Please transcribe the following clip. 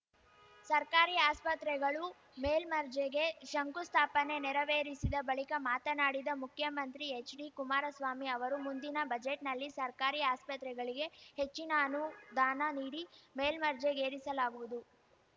ಸರ್ಕಾರಿ ಆಸ್ಪತ್ರೆಗಳು ಮೇಲ್ಮರ್ಜೆಗೆ ಶಂಕುಸ್ಥಾಪನೆ ನೆರವೇರಿಸಿದ ಬಳಿಕ ಮಾತನಾಡಿದ ಮುಖ್ಯಮಂತ್ರಿ ಎಚ್‌ಡಿಕುಮಾರಸ್ವಾಮಿ ಅವರು ಮುಂದಿನ ಬಜೆಟ್‌ನಲ್ಲಿ ಸರ್ಕಾರಿ ಆಸ್ಪತ್ರೆಗಳಿಗೆ ಹೆಚ್ಚಿನ ಅನುದಾನ ನೀಡಿ ಮೇಲ್ಮರ್ಜೆಗೇರಿಸಲಾಗುವುದು